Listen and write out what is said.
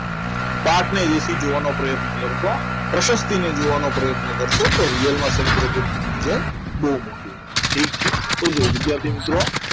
પાઠને એસી જોવાનો પ્રયત્ન કરું તો પ્રશક્તિને જવાનો જોવાનો પ્રયત્ન કરશો તો real માં સમુદ્ર ગ્રુપની વિજય બહુ મોટી છે ઠીક છે તો જુઓ વિદ્યાર્થી મિત્રો